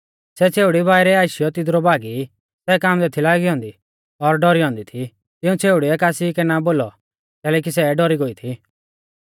सै छ़ेउड़ी बाइरै आशीयौ तिदरु भागी सै कांबदै थी लागी औन्दी और डौरी औन्दी थी तिऊं छ़ेउड़िउऐ कासी कै ना बोलौ कैलैकि सै डौरी गोई थी